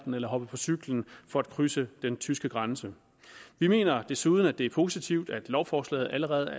eller hoppe på cyklen for krydse den dansk tyske grænse vi mener desuden at det er positivt at lovforslaget allerede